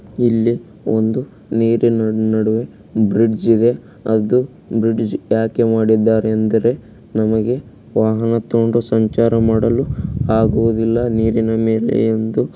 ಇಲ್ಲಿ ಒಂದು ನೀರಿನ ನಡುವೆ ಬ್ರಿಡ್ಜ್ ಇದೆ ಅದು ಬ್ರಿಡ್ಜ್ ಯಾಕೆ ಮಾಡಿದ್ದಾರೆ ಅಂದರೆ ನಮಗೆ ವಾಹನ ತಗೊಂಡು ಸಂಚಾರ ಮಾಡಲು ಆಗುವುದಿಲ್ಲ ನೀರಿನ ಮೇಲೆ ಎಂದು.